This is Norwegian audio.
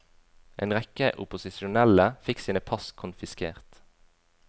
En rekke opposisjonelle fikk sine pass konfiskert.